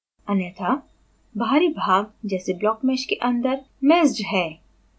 अन्यथा बाहरी भाग जैसे blockmesh के अंदर मैस्ड है